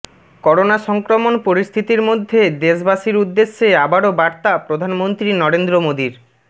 corona সংক্রমণ পরিস্থিতির মধ্যে দেশবাসীর উদ্দেশ্যে আবারো বার্তা প্রধানমন্ত্রী নরেন্দ্র মোদীর